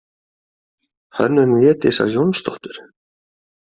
Hönnun Védísar Jónsdóttur.